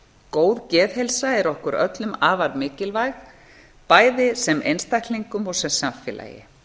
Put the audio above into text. góð geðheilsa er okkur öllum afar mikilvæg bæði sem einstaklingum og sem samfélagi